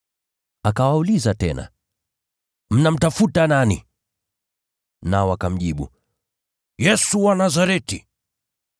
Akawauliza tena, “Mnamtafuta nani?” Nao wakamjibu, “Yesu wa Nazareti.”